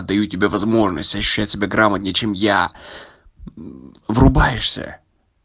даю тебе возможность ощущать себя грамотней чем я врубаешься